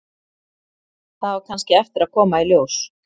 Það á kannski eftir að koma í ljós.